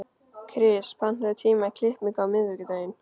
Kris, pantaðu tíma í klippingu á miðvikudaginn.